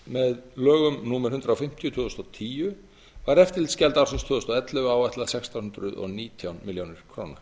með lögum númer hundrað fimmtíu tvö þúsund og tíu var eftirlitsgjald ársins tvö þúsund og ellefu áætlað sextán hundruð og nítján milljónum króna